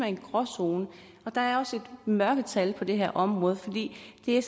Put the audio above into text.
en gråzone og der er også et mørketal på det her område for det er